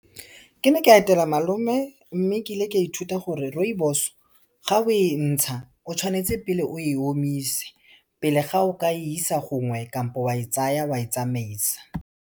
Ke ne ka etela malome, mme ke ile ka ithuta gore rooibos ga o e ntsha, o tshwanetse pele o e omise pele ga o ka e isa gongwe kampo wa e tsaya wa e tsamaisa.